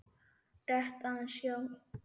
Rétt aðeins, já.